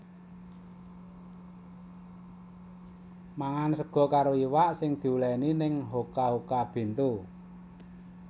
Mangan sego karo iwak sing diuleni ning Hoka Hoka Bento